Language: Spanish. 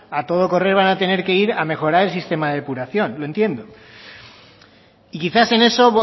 a todo correr van a tener que ir a mejorar el sistema de depuración yo entiendo y quizás en eso